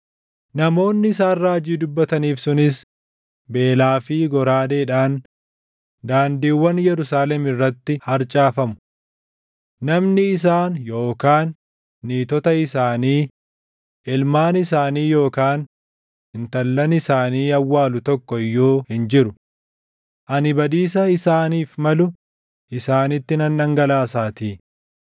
Namoonni isaan raajii dubbataniif sunis beelaa fi goraadeedhaan daandiiwwan Yerusaalem irratti harcaafamu. Namni isaan yookaan niitota isaanii, ilmaan isaanii yookaan intallan isaanii awwaalu tokko iyyuu hin jiru. Ani badiisa isaaniif malu isaanitti nan dhangalaasaatii.